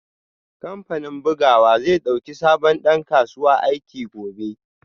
Kamfanin bugawa zai dauki sabon dan kasuwa aiki gobe